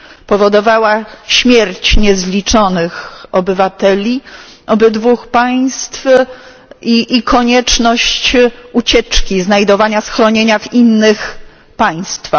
Powodowała śmierć niezliczonych obywateli obydwóch państw i konieczność ucieczki, znajdowania schronienia w innych państwach.